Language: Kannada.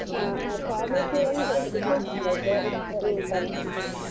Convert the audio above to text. ಹಾ Pharmacy ಅಂದ್ರೆ .